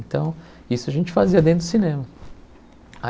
Então, isso a gente fazia dentro do cinema.